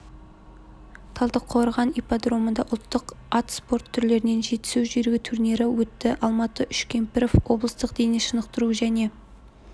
талдықорған ипподромында ұлттық ат спорты түрлерінен жетісу жүйрігі турнирі өтті алмат үшкемпіров облыстық дене шынықтыру және